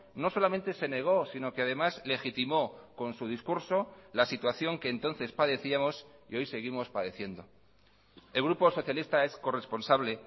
no solamente se negó sino que además legitimó con su discurso la situación que entonces padecíamos y hoy seguimos padeciendo el grupo socialista es corresponsable